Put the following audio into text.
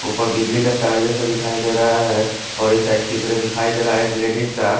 ऊपर बिजली का तार जैसा दिखाई दे रहा है और इस साइड चित्र दिखाई दे रहा है एक लेडिस का--